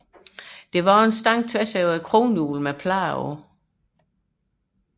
Der var en stang tværs over kronhjulet med plader på